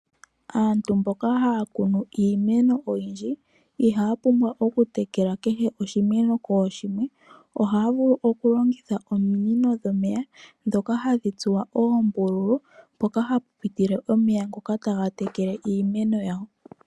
Aantu mboka haya kunu iimeno oyindji ihaya pumbwa oku tekela kehe oshimeno kooshimwe ohaya vulu oku longitha ominino dhomeya ndhoka hadhi tsuwa oombululu mpoka hapu pitile omeya ngoka taga tekele iimeno yawo.